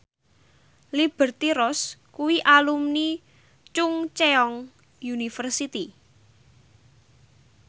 Liberty Ross kuwi alumni Chungceong University